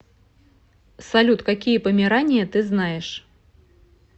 салют какие померания ты знаешь